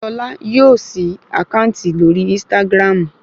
Ṣolá yóò ṣí àkáǹtì lórí ínstágráàmù